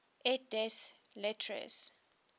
et des lettres